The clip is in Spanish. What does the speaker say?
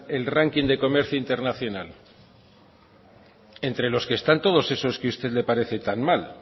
el ranking de comercio internacional entre los que están todos esos que usted le parece tan mal